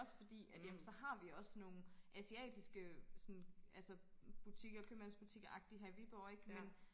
Også fordi at ja men så har vi også sådan nogle asiatiske sådan altså butikker købmandsbutikkeragtig her i Viborg ikke men